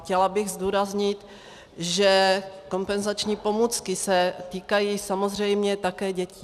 Chtěla bych zdůraznit, že kompenzační pomůcky se týkají samozřejmě také dětí.